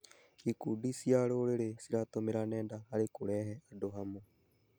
Ikundi cia rũrĩrĩ ciratũmĩra nenda harĩ kũrehe andũ hamwe.